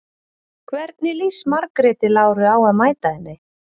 Hvernig líst Margréti Láru á að mæta henni?